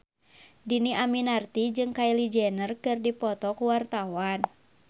Dhini Aminarti jeung Kylie Jenner keur dipoto ku wartawan